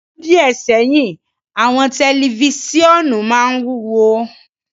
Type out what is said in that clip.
Ni ọdun diẹ sẹhin, awọn tẹlifisiọnu maa ń iwuwo